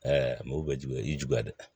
mobili bɛ juguya i y'i juguya dɛ